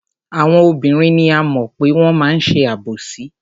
Àwọn obìnrin ni a mọ̀ pé wọ́n máa ń ṣe àbòsí.